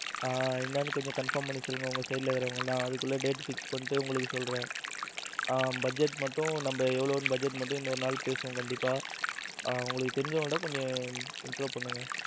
ஆ என்னன்னு கொஞ்சம் confirm பண்ணி சொல்லுங்க உங்க side இருக்கிறவங்க எல்லாம் அதுக்குள்ள date fix பண்ணிட்டு உங்களுக்கு சொல்றேன் budget மட்டும் நம்ம எவ்வளவுன்னு budget மட்டும் இன்னொரு நாள் பேசுவோம் கண்டிப்பா உங்களுக்கு தெரிஞ்சவங்க கிட்ட கொஞ்சம் intro பண்ணுங்க.